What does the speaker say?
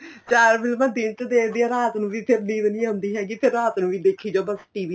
ਚਾਰ ਫ਼ਿਲਮਾ ਦਿਨ ਚ ਦੇਖਦੀ ਆ ਰਾਤ ਨੂੰ ਵੀ ਨੀਂਦ ਨੀਂ ਆਉਂਦੀ ਹੈਗੀ ਤੇ ਰਾਤ ਨੂੰ ਵੀ ਦੇਖੀ ਜਾਉ ਬੱਸ TV